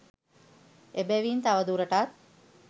එබැවින් තවදුරටත්